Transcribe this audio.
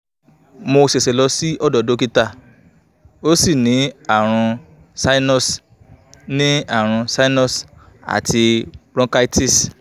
mo sese lọ sí odo dókítà mo sì ní àrùn sinus ní àrùn sinus àti bronchitis